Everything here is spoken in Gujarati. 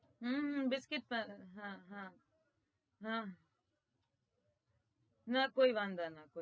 હમ બિસ્કીટ હમમ હા હા હા કોઈ વાધો નતો